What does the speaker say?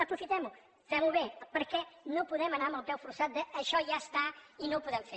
aprofitem ho fem ho bé perquè no podem anar amb el peu forçat de això ja està i no ho podem fer